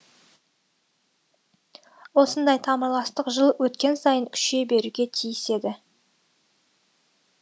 осындай тамырластық жыл өткен сайын күшейе беруге тиіс еді